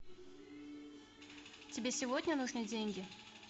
тебе сегодня нужны деньги